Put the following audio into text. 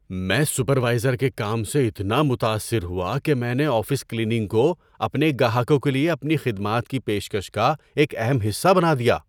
میں سپروائزر کے کام سے اتنا متاثر ہوا کہ میں نے آفس کلیننگ کو اپنے گاہکوں کے لیے اپنی خدمات کی پیشکش کا ایک اہم حصہ بنا دیا۔